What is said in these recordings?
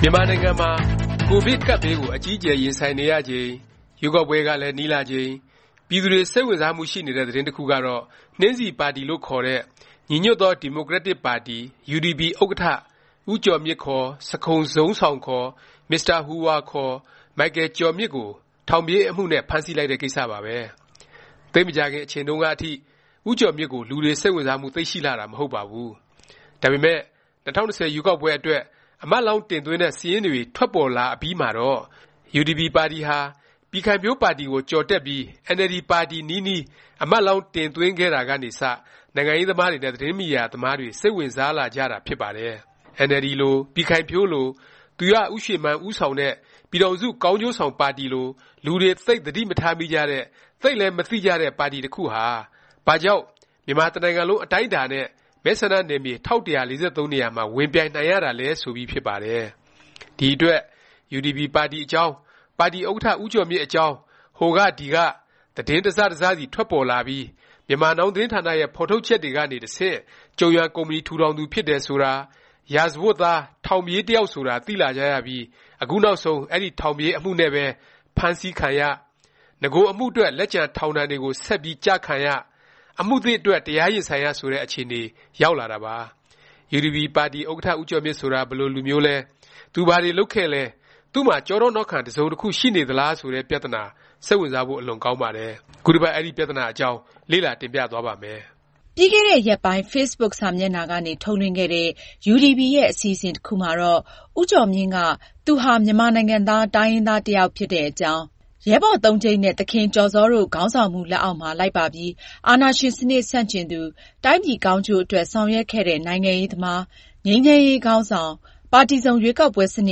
မြန်မာနိုင်ငံမှာ ကိုဗစ် ကပ်ဘေးကို အကြီးအကျယ် ရင်ဆိုင်နေရချိန်၊ ရွေးကောက်ပွဲကလည်း နီးလာချိန် ပြည်သူတွေ စိတ်ဝင်စားမှု ရှိနေတဲ့ သတင်းတစ်ခုကတော့ နှင်းဆီပါတီလို့ ခေါ်တဲ့ ညီညွတ်သော ဒီမိုကရက်တစ် ပါတီ UDP ဥက္ကဌ ဦးကျော်မြင့် ခေါ် ဆခုန်ဇုန်းဆောင် ခေါ် မစ္စတာ ဟူဟွာ ခေါ် မိုက်ကယ်ကျော်မြင့် ကို ထောင်ပြေး အမှုနဲ့ ဖမ်းဆီးလိုက်တဲ့ ကိစ္စပါပဲ။ သိပ်မကြာခင် အချိန်တုန်းကအထိ ဦးကျော်မြင့်ကို လူတွေ စိတ်ဝင်စားမှု သိပ်ရှိလှတာ မဟုတ်ပါဘူး။ ဒါပေမယ့် ၂၀၂၀ ရွေးကောက်ပွဲ အတွက် အမတ်လောင်း တင်သွင်းတဲ့ စာရင်းတွေ ထွက်ပေါ်လာအပြီးမှာတော့ UDP ပါတီဟာ ပြည်ခိုင်ဖြိုးပါတီကို ကျော်တက်ပြီး အင်န်အယ်လ်ဒီ ပါတီ နီးနီး အမတ်လောင်း တင်သွင်းခဲ့တာကနေ စ နိုင်ငံရေးသမားတွေ နဲ့ သတင်းမီဒီယာ သမားတွေ စိတ်ဝင်စားလာကြတာ ဖြစ်ပါတယ်။ အင်န်အယ်လ်ဒီလို၊ ပြည်ခိုင်ဖြိုးလို၊ သူရဦးရွှေမန်း ဦးဆောင်တဲ့ ပြည်ထောင်စု ကောင်းကျိုးဆောင် ပါတီလို လူတွေ သိပ် သတိမထားမိကြတဲ့၊ သိပ်လည်း မသိကြတဲ့ ပါတီ တစ်ခုဟာ ဘာကြောင့် မြန်မာတစ်နိုင်ငံလုံး အတိုင်းအတာနဲ့ မဲဆန္ဒနယ်မြေ ၁၁၄၃ နေရာမှာ ဝင်ပြိုင်နိုင်ရတာလဲ ဆိုပြီး ဖြစ်ပါတယ်။ ဒီအတွက် UDP ပါတီအကြောင်း၊ ပါတီ ဥက္ကဌ ဦးကျော်မြင့် အကြောင်း ဟိုက ဒီက သတင်း တစ်စ တစ်စစီထွက်ပေါ်လာပြီး Myanmar Now သတင်းဌာနရဲ့ ဖော်ထုတ်ချက်တွေကနေ တဆင့် ကျုံယွမ် ကုမ္ပဏီ ထူထောင်သူ ဖြစ်တယ် ဆိုတာ၊ ရာဇဝတ်သား ထောင်ပြေး တစ်ယောက်ဆိုတာ သိလာကြရပြီး အခုနောက်ဆုံး အဲဒီ ထောင်ပြေးအမှုနဲ့ပဲ ဖမ်းဆီးခံရ၊ နဂို အမှုအတွက် လက်ကျန် ထောင်ဒဏ်တွေကို ဆက်ပြီး ကျခံရ၊ အမှုသစ်အတွက် တရားရင်ဆိုင်ရ ဆိုတဲ့ အခြေအနေ ရောက်လာတာပါ။ UDP ပါတီ ဥက္ကဌ ဦးကျော်မြင့် ဆိုတာ ဘယ်လို လူမျိုးလဲ၊ သူဘာတွေ လုပ်ခဲ့သလဲ၊ သူ့မှာ ကျောထောက်နောက်ခံ တစ်စုံတစ်ခု ရှိနေသလား ဆိုတဲ့ပြသနာ စိတ်ဝင်စားဖို့ အလွန်ကောင်းပါတယ်။ ခုတစ်ပတ် အဲဒီ ပြသနာ အကြောင်း လေ့လာ တင်ပြသွားပါ့မယ်။ ပြီးခဲ့တဲ့ ရက်ပိုင်း facebook စာမျက်နှာကနေ ထုတ်လွှင့်ခဲ့တဲ့ UDP ရဲ့ အစီအစဉ် တစ်ခုမှာတော့ ဦးကျော်မြင့်က သူဟာ မြန်မာနိုင်ငံသား တိုင်းရင်းသား တစ်ယောက် ဖြစ်တဲ့အကြောင်း၊ ရဲဘော်သုံးကျိပ်နဲ့ သခင်ကျော်ဇောတို့ ခေါင်းဆောင်မှု လက်အောက်မှာ လိုက်ပါပြီး အာဏာရှင် စနစ် ဆန့်ကျင်သူ၊ တိုင်းပြည်ကောင်းကျိုးအတွက် ဆောင်ရွက်ခဲ့တဲ့ နိုင်ငံရေးသမား၊ ငြိမ်းချမ်းရေး ခေါင်းဆောင်၊ ပါတီစုံ ရွေးကောက်ပွဲစန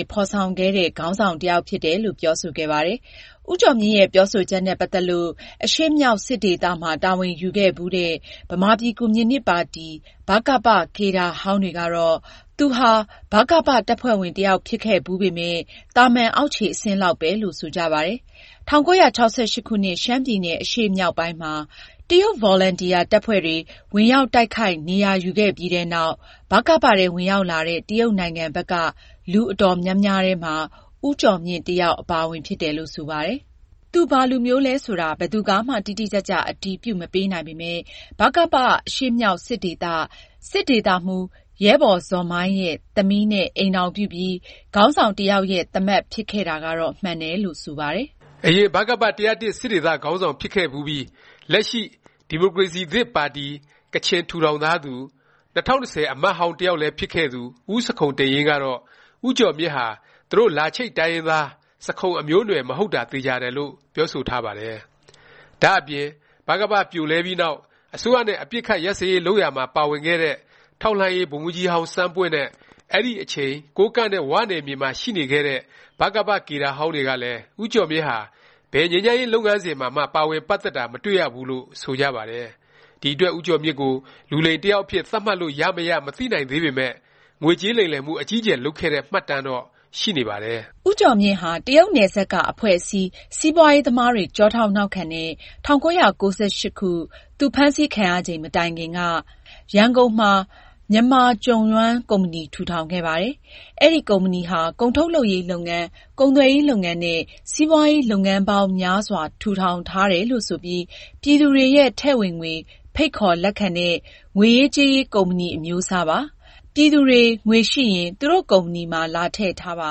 စ် ဖော်ဆောင်ခဲ့တဲ့ ခေါင်းဆောင် တစ်ယောက်ဖြစ်တယ်လို့ ပြောဆိုခဲ့ပါတယ်။ ဦးကျော်မြင့်ရဲ့ ပြောဆိုချက်နဲ့ ပတ်သက်ပြီး အရှေ့မြောက် စစ်ဒေသ မှာ တာဝန်ယူခဲ့ဖူးတဲ့ ဗမာပြည်ကွန်မြူနစ်ပါတီ ဗကပ ကေဒါဟောင်းတွေကတော့ သူဟာ ဗကပ တပ်ဖွဲ့ဝင် တစ်ယောက် ဖြစ်ခဲ့ဖူးပေမယ့် သာမန် အောက်ခြေ အဆင့်လောက်ပဲ လို့ ဆိုကြပါတယ်။ ၁၉၆၈ ခုနှစ် ရှမ်းပြည်နယ် အရှေ့မြောက်ပိုင်းမှာ ဗကပ အလံထောင်ပြီး တရုတ်ဗော်လံတီယာ တပ်ဖွဲ့တွေဝင်ရောက် တိုက်ခိုက် နေရာယူခဲ့ပြီးတဲ့နောက် ဗကပ ထဲ ဝင်ရောက်လာတဲ့ တရုတ်နိုင်ငံဘက်က လူအတော်များများထဲမှာ ဦးကျော်မြင့်လည်း တစ်ယောက် အပါအဝင် ဖြစ်တယ်လို့ ဆိုပါတယ်။ သူဘာလူမျိုးလဲ ဆိုတာ ဘယ်သူကမှ တိတိကျကျ အတည်ပြုမပေးနိုင်ပေမယ့် ဗကပ အရှေ့မြောက် စစ်ဒေသ၊ စစ်ဒေသမှူး ရဲဘော်ဇော်မိုင်ရဲ့ သမီးနဲ့ ညားပြီး ခေါင်းဆောင်တစ်ယောက်ရဲ့ သားမက် ဖြစ်ခဲ့တာတော့ မှန်တယ်လို့ ဆိုပါတယ်။ အရင် ဗကပ ၁၀၁ စစ်ဒေသ ခေါင်းဆောင်ဖြစ်ခဲ့ဖူးပြီး လက်ရှိ ဒီမိုကရေစီသစ် ပါတီ (ကချင်) ထူထောင်ထားသူ၊ ၂၀၁၀ အမတ်ဟောင်း တစ်ယောက်လည်း ဖြစ်ခဲ့သူ ဦးဆခုံတိန့်ယိန်းကတော့ ဦးကျော်မြင့်ဟာ သူတို့ လာချိတ် တိုင်းရင်းသား ဆခုံအမျိုးအနွယ် မဟုတ်တာ သေခြာတယ်လို့ ပြောဆိုထားပါတယ်။ ဒါ့အပြင် ဗကပ ပြိုလဲပြီးနောက် အစိုးရနဲ့ အပစ်အခတ် ရပ်စဲရေး လုပ်ရာမှာ ပါဝင်ခဲ့တဲ့ ထောက်လှမ်းရေး ဗိုလ်မှူးကြီးဟောင်း စန်းပွင့်နဲ့ အဲဒီ အချိန် ကိုးကန့်နဲ့ ၀ နယ်မြေမှာ ရှိနေခဲ့တဲ့ ဗကပ ကေဒါဟောင်းတွေကလည်း ဦးကျော်မြင့်ဟာ ဘယ်ငြိမ်းချမ်းရေး လုပ်ငန်းစဉ်မှာမှ ပါဝင်တာ မတွေ့ရဘူးလို့ ဆိုကြပါတယ်။ ဒီအတွက် ဦးကျော်မြင့်ကို လူလိမ်တစ်ယောက်အဖြစ် သတ်မှတ်လို့ ရမရ မသိနိုင်သေးပေမယ့် ငွေကြေးလိမ်လည်မှု အကြီးအကျယ် လုပ်ခဲ့တဲ့ မှတ်တမ်းတော့ ရှိနေပါတယ်။ ဦးကျော်မြင့်ဟာ တရုတ်နယ်စပ်က အဖွဲ့အစည်း၊ စီးပွားရေးသမားတွေ ကျောထောက်နောက်ခံနဲ့ ၁၉၉၈ သူ ဖမ်းဆီးခံရချိန် မတိုင်ခင်က ရန်ကုန်မှာ မြန်မာကျုံယွမ် ကုမ္ပဏီ ထူထောင်ခဲ့ပါတယ်။ အဲဒီ ကုမ္ပဏီဟာ ကုန်ထုတ်လုပ်ရေး လုပ်ငန်း၊ ကုန်သွယ်ရေး လုပ်ငန်းနဲ့ စီးပွားရေး လုပ်ငန်းပေါင်း များစွာ ထူထောင်ထားတယ်လို့ ဆိုပြီး ပြည်သူတွေရဲ့ ထည့်ဝင်ငွေ ဖိတ်ခေါ် လက်ခံတဲ့ ငွေရေးကြေးရေး ကုမ္ပဏီ အမျိုးအစားပါ။ ပြည်သူတွေ ငွေရှိရင် သူတို့ကုမ္ပဏီမှာ လာထည့်ထားပါ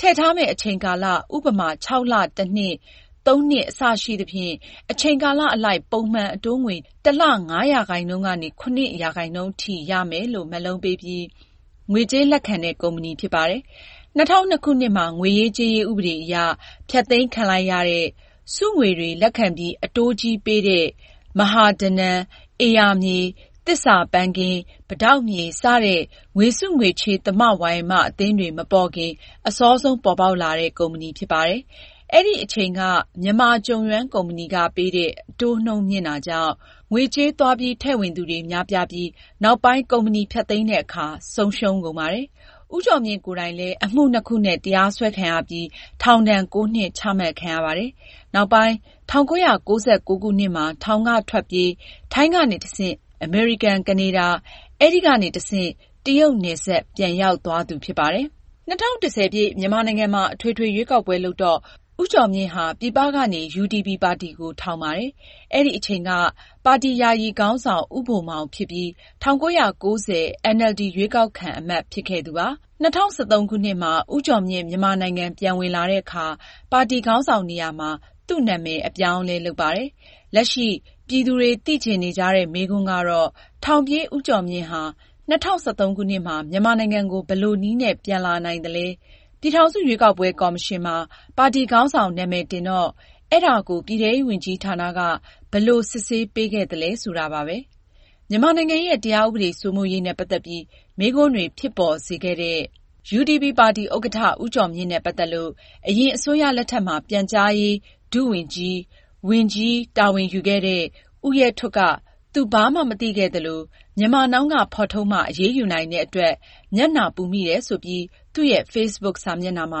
၊ ထည့်ထားမယ့် အချိန်ကာလ ဥပမာ ၆ လ၊ တစ်နှစ်၊ ၃ နှစ် အစရှိသဖြင့် အချိန်ကာလ အလိုက် ပုံမှန် အတိုးငွေ တစ်လ ၅% ကနေ ၇% အထိ ရမယ်လို့ မက်လုံးပေးပြီး ငွေကြေးလက်ခံတဲ့ ကုမ္ပဏီဖြစ်ပါတယ်။ ၂၀၀၂ ခုနှစ်မှာ ငွေရေးကြေးရေး ဥပဒေအရ ဖျက်သိမ်းခံလိုက်ရတဲ့၊ စုငွေတွေ လက်ခံပြီး အတိုးကြီးပေးတဲ့ မဟာဓနံ၊ ဧရာမြေ၊ သစ္စာပန်းခင်း၊ ပိတောက်မြေ စတဲ့ ငွေစုငွေချေး သမဝါယမ အသင်းတွေ မပေါ်ခင် အစောဆုံး ပေါ်ပေါက်လာတဲ့ ကုမ္ပဏီဖြစ်ပါတယ်။ အဲဒီ အချိန်က မြန်မာကျုံယွမ်ကုမ္ပဏီက ပေးတဲ့ အတိုးနှုန်း မြင့်တာကြောင့် ငွေကြေး သွားပြီး ထည့်ဝင်သူတွေ များပြားပြီး နောက်ပိုင်း ကုမ္ပဏီဖျက်သိမ်းတဲ့အခါ ဆုံးရှုံးကုန်ပါတယ်။ ဦးကျော်မြင့်ကိုယ်တိုင်လည်း အမှုနှစ်ခုနဲ့ တရားစွဲခံရပြီး ထောင်ဒဏ်(၉) နှစ်ချမှတ်ခံရပါတယ်။ နောက်ပိုင်း ၁၉၉၉ ခုနှစ်မှာ ထောင်က ထွက်ပြေး၊ ထိုင်းကနေ တဆင့် အမေရိကန်၊ ကနေဒါ၊ အဲဒီကနေ တဆင့် တရုတ်နယ်စပ် ပြန်ရောက်သွားသူ ဖြစ်ပါတယ်။ ၂၀၁၀ မြန်မာနိုင်ငံမှာ အထွေထွေ ရွေးကောက်ပွဲ လုပ်တော့ ဦးကျော်မြင့်ဟာ ပြည်ပကနေ UDP ပါတီကို ထောင်ပါတယ်။ အဲဒီအချိန်က ပါတီ ယာယီခေါင်းဆောင် ဦးဘိုမောင် ဖြစ်ပြီး ၁၉၉၀ အင်န်အယ်လ်ဒီ ရွေးကောက်ခံ အမတ် ဖြစ်ခဲ့သူပါ။ ၂၀၁၃ ဦးကျော်မြင့် မြန်မာနိုင်ငံ ပြန်ဝင်လာတဲ့အခါ ပါတီခေါင်းဆောင်နေရာမှာ သူ့နာမည်ကို အပြောင်းအလဲ လုပ်ပါတယ်။ လက်ရှိ ပြည်သူတွေ သိချင်နေကြတဲ့ မေးခွန်းကတော့ ထောင်ပြေး ဦးကျော်မြင့်ဟာ ၂၀၁၃ ခုနှစ်မှာ မြန်မာနိုင်ငံကို ဘယ်လိုနည်းနဲ့ ပြန်လာနိုင်သလဲ၊ ပြည်ထောင်စု ရွေးကောက်ပွဲ ကော်မရှင်မှာ ပါတီခေါင်းဆောင် နာမည် တင်တော့ အဲဒါကို ပြည်ထဲရေးဝန်ကြီးဌာနက ဘယ်လိုစစ်ဆေးပေးခဲ့သလဲ ဆိုတာပါပဲ။ မြန်မာနိုင်ငံရဲ့ တရားဥပဒေ စိုးမိုးရေးနဲ့ ပတ်သက်ပြီး မေးခွန်းတွေ ဖြစ်ပေါ်စေခဲ့တဲ့ UDP ပါတီဥက္ကဌ ဦးကျော်မြင့် နဲ့ ပတ်သက်လို့ အရင်အစိုးရလက်ထက်မှာ ပြန်ကြားရေး ဒုဝန်ကြီး၊ ဝန်ကြီး တာဝန်ယူခဲ့တဲ့ ဦးရဲထွဋ်က သူဘာမှ မသိခဲ့သလို၊ Myanmar Now က ဖော်ထုတ်မှ အရေးယူနိုင်တဲ့ အတွက် မျက်နှာပူမိတယ် ဆိုပြီး သူ့ရဲ့ facebook စာမျက်နှာမှာ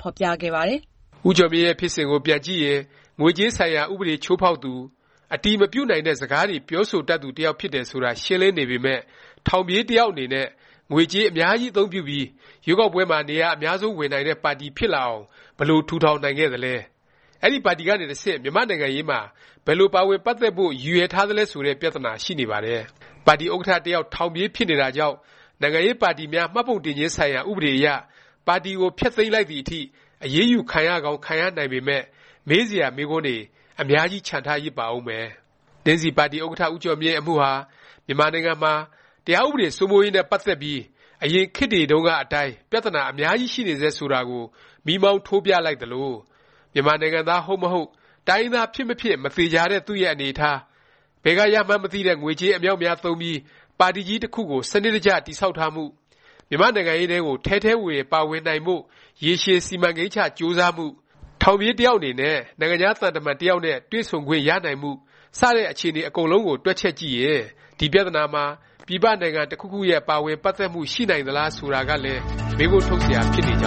ဖော်ပြခဲ့ပါတယ်။ ဦးကျော်မြင့်ရဲ့ ဖြစ်စဉ်ကို ပြန်ကြည့်ရင် ငွေကြေးဆိုင်ရာ ဥပဒေချိုးဖေါက်သူ ဖြစ်တယ် ဆိုတာ ရှင်းလင်းနေပေမယ့် ထောင်ပြေး တစ်ယောက် အနေနဲ့ ငွေကြေး အများကြီး အသုံးပြုပြီး ရွေးကောက်ပွဲမှာ နေရာ အများဆုံး ဝင်နိုင်တဲ့ ပါတီဖြစ်လာအောင် ဘယ်လို ထူထောင်နိုင်ခဲ့သလဲ၊ အဲဒီ ပါတီကနေ တဆင့် မြန်မာ့နိုင်ငံရေးမှာ ဘယ်လို ပါဝင်ပတ်သက်ဖို့ ရည်ရွယ်ထားသလဲ ဆိုတဲ့ ပြသနာရှိနေပါတယ်။ ပါတီ ဥက္ကဌ တစ်ယောက် ထောင်ပြေး ဖြစ်နေတာကြောင့် နိုင်ငံရေးပါတီများ မှတ်ပုံတင်ခြင်း ဆိုင်ရာ ဥပဒေအရ ပါတီကို ဖျက်သိမ်းလိုက်သည် အထိ အရေးယူ ခံရကောင်း ခံရနိုင်ပေမယ့် မေးစရာ မေးခွန်းတွေ အများကြီး ချန်ထားရစ်ပါဦးမယ်။ နှင်းဆီပါတီ ဥက္ကဌ ဦးကျော်မြင့် အမှုဟာ မြန်မာနိုင်ငံမှာ တရားဥပဒေ စိုးမိုးရေး နဲ့ ပတ်သက်ပြီး အရင်ခေတ်တွေတုန်းက အတိုင်း ပြသနာ အများကြီးရှိနေဆဲ ဆိုတာကို မီးမောင်းထိုးပြလိုက်သလို၊ မြန်မာနိုင်ငံသား ဟုတ်မဟုတ်၊ တိုင်းရင်းသား ဖြစ်မဖြစ် မသေခြာတဲ့ သူ့ရဲ့အနေအထား၊ ဘယ်က ရမှန်းမသိတဲ့ ငွေကြေး အမြောက်အများ သုံးပြီး ပါတီကြီး တစ်ခုကို စနစ်တကျ တည်ဆောက်ထားမှု၊ မြန်မာ့နိုင်ငံရေးထဲကို ထဲထဲဝင်ဝင် ပါဝင်နိုင်ဖို့ ရေရှည် စီမံကိန်းချ ကြိုးစားမှု၊ ထောင်ပြေး တစ်ယောက် အနေနဲ့ နိုင်ငံခြား သံတမန် တစ်ယောက်နဲ့ တွေ့ဆုံခွင့် ရနိုင်မှု စတဲ့ အခြေအနေ အားလုံး တွက်ချက်ကြည့်ရင် ဒီ ပြသနာမှာ ပြည်ပ နိုင်ငံ တစ်ခုခုရဲ့ ပါဝင်ပတ်သက်မှု ရှိနေနိုင်သလား ဆိုတာကလည်း မေးခွန်းထုတ်စရာ ဖြစ်နေကြောင်